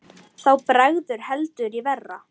Þá bregður heldur í verra.